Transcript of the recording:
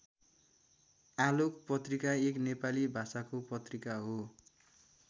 आलोक पत्रिका एक नेपाली भाषाको पत्रिका हो।